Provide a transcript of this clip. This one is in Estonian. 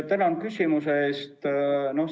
Tänan küsimuse eest!